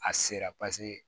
A sera